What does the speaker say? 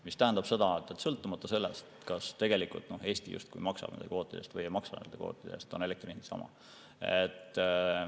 Mis tähendab seda, et sõltumata sellest, kas tegelikult Eesti justkui maksab nende kvootide eest või ei maksa nende kvootide eest, on elektri hind sama.